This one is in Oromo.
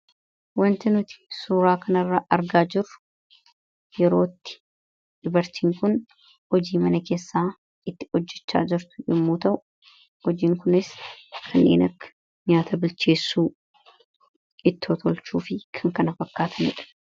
wanti nuti suuraa kanarra argaa jirru yerootti dubartiin kun hojii mana keessaa itti hojjechaa jirtu yemmuu ta'u hojiin kunis kan inni nyaata bilcheessuu fi ittoo tolchuu fi kana kan fakkaatanidha.